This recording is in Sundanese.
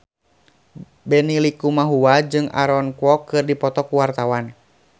Benny Likumahua jeung Aaron Kwok keur dipoto ku wartawan